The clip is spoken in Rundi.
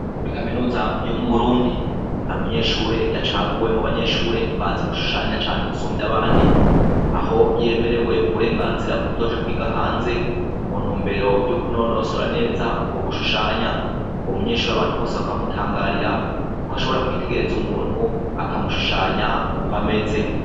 Muri kaminuza yo mu Burundi, hari umunyeshure yacaguwe mubanyeshure bazi gushushanya cane gusumvya abandi ,aho yemerewe uburengazira bwo kuzoja kwiga hanze muntumbero yo kunonosora neza ukwo gushushanya, uwo munyeshure abanta bose bakaba bamutangarira ko ashobora kwitegereza umuntu akamushushanya ukwo ameze.